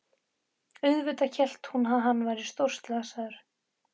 Auðvitað hélt hún að hann væri stórslasaður!